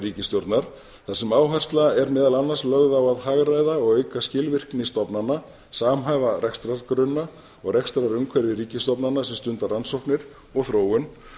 ríkisstjórnar þar sem áhersla er meðal annars lögð á að hagræða og auka skilvirkni stofnana samhæfa rekstrargrunna og rekstrarumhverfi ríkisstofnana sem stunda rannsóknir og þróun